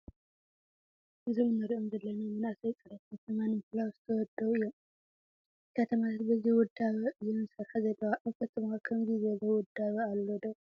እዞም ንሪኦም ዘለና መናእሰይ ፅሬት ከተማ ንምሕላው ዝተወደቡ እዮ፡፡ ከተማታት በዚ ውዳበ እየን ዝሰርሓ ዘለዋ፡፡ ኣብ ከተማኹም ከምዚ ዝበለ ውዳበ ኣሎ ዶ?